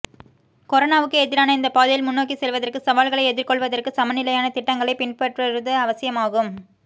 கொரோனாவுக்கு எதிரான இந்த பாதையில் முன்னோக்கி செல்வதற்கு சவால்களை எதிர்கொள்வதற்கு சமநிலையான திட்டங்களை பின்பற்றுவது அவசியமாகும்